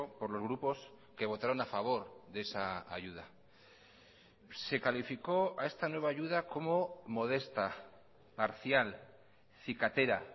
por los grupos que votaron a favor de esa ayuda se calificó a esta nueva ayuda como modesta parcial cicatera